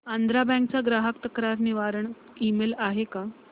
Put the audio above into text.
Andhra bank चा ग्राहक तक्रार निवारण ईमेल आहे का